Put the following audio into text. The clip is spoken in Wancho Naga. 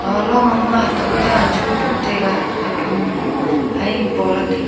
aga long ham ma hatok ta hachu buh taiga haphanglu haiang paolah taiga.